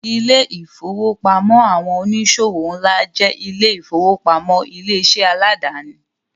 Ilé-ìfowópamọ́ àwọn oníṣòwò ńlá jẹ́ ilé-ìfowópamọ́ ilé-iṣẹ́ aládàáni.